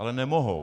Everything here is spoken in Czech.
Ale nemohou.